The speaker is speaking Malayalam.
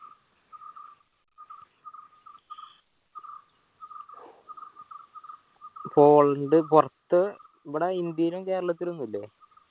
പോളണ്ട് പുറത്ത് ഇവിടെ ഇന്ത്യയിലും കേരളത്തിലും ഒന്നൂല്ലേ